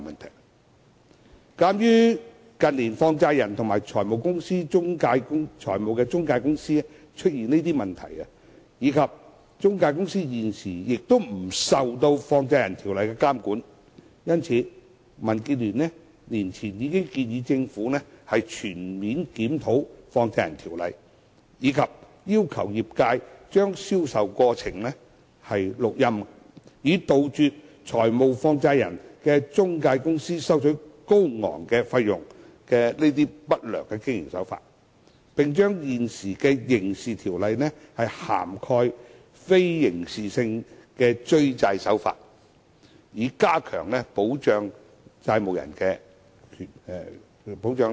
有鑒於近年放債人及財務中介公司出現的問題，以及中介公司現時不受《放債人條例》監管，民主建港協進聯盟年前已建議政府全面檢討《放債人條例》，以及要求業界將銷售過程錄音，以杜絕財務放債人的中介公司收取高昂費用的不良經營手法，並將現有的刑事條例涵蓋非刑事性的追債手法，以加強保障債務人。